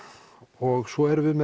og svo erum við með